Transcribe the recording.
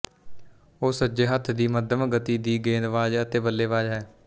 ਉਹ ਸੱਜੇ ਹੱਥ ਦੀ ਮੱਧਮ ਗਤੀ ਦੀ ਗੇਂਦਬਾਜ਼ ਅਤੇ ਬੱਲੇਬਾਜ਼ ਹੈ